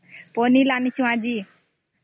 ପନିର ଆଣିଥିଲି ଆଜି